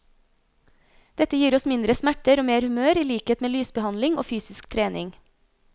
Dette gir oss mindre smerter og mer humør i likhet med lysbehandling og fysisk trening.